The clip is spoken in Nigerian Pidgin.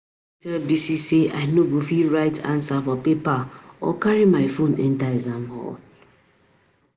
I don tell Bisi say I no go fit write answer for paper or carry my phone enter exam hall